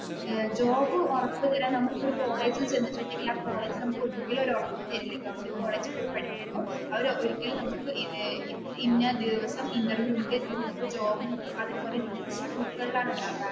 job ഉറപ്പു തരാൻ നമ്മൾ ഇപ്പൊ ഒരു കോളേജിൽ ചെന്നിട്ടുണ്ടെങ്കിൽ ആ കോളേജ് നമുക്ക് ഒരിക്കലും ഒരു ഉറപ്പ് തരില്ല ഗവർമെന്റ് കോളേജിൽ പോയി പഠിക്കുമ്പോ അവർ ഒരിക്കലും നമുക്ക് ഇന്ന ദിവസം ഇന്റർവ്യൂ ഉണ്ട്